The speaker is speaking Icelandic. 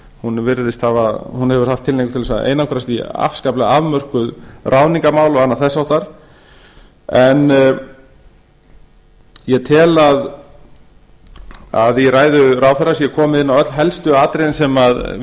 hún hefur haft tilhneigingu til þess að einangrast í afskapalega afmörkuð ráðningarmál og annað þess háttar en ég tel að í ræðu ráðherra sé komið inn á öll helstu atriðin sem